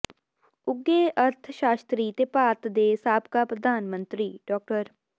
ਉੱਘੇ ਅਰਥ ਸ਼ਾਸਤਰੀ ਤੇ ਭਾਰਤ ਦੇ ਸਾਬਕਾ ਪ੍ਰਧਾਨ ਮੰਤਰੀ ਡਾ